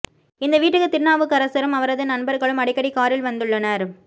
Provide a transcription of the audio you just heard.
இந்த வீட்டுக்கு திருநாவுக்கரசும் அவரது நண்பர்களும் அடிக்கடி காரில் வந்துள்ளனர்